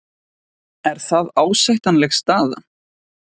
Er það ásættanleg staða?